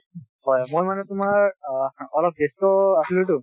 মই মানে তোমাৰ অ অলপ ব্যস্ত আছিলোঁ টো